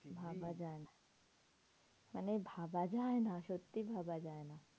ভাবা যায় না। মানে ভাবা যায় না, সত্যি ভাবা যায় না।